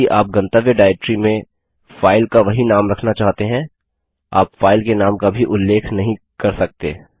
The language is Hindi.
यदि आप गंतव्य डाइरेक्टरी में फाइल का वही नाम रखना चाहते हैं आप फाइल के नाम का भी उल्लेख नहीं कर सकते